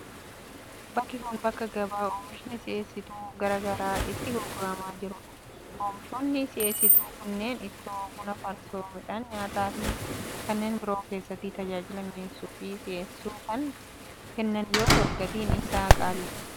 Bakki kun, bakka gabaa oomishni si'eessituu garaa garaa itti gurguramaa jiruu dha. Oomishoonni si'eesituu kunneen ittoo ,buna ,farsoo, midhaan nyaataa fi kanneen biroo keessatti tajaajila mi'eessuu fi si'eessuu kan kennan yoo ta'u, gatiin isaanii qaalii dha.